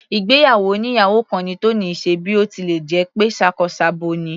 Ìgbéyàwó oníyàwò kan ni Tony ṣe bí ó tilẹ̀ jẹ́ pé ṣakọ s'abo ni.